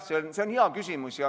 See on hea küsimus.